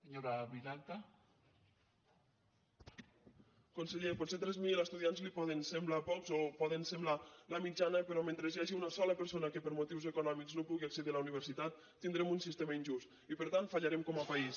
conseller potser tres mil estudiants li poden semblar pocs o poden semblar la mitjana però mentre hi hagi una sola persona que per motius econòmics no pugui accedir a la universitat tindrem un sistema injust i per tant fallarem com a país